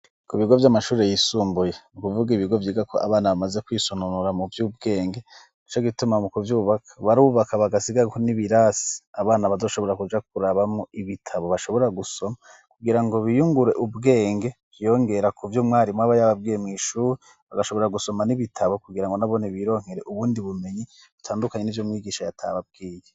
Ku bigo vy'amashuri yisumbuye nukuvuga ibigo vyiga ko abana bamaze kwisonunura mu vyo ubwenge di co gituma mu ku vyubaka barubaka bagasigau n'ibirasi abana badoshobora kuja kurabamwo ibitabo bashobora gusoma kugira ngo biyungure ubwenge vyongera ku vyo umwarimw aba yababwemw'ishure bagashobora gusoma n'ibitabo kugira ngo nabone bironkee uwundi bumenyi butandukanye ni vyo mwigisha yatababwiye.